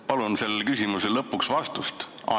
Palun sellele küsimusele lõpuks vastust!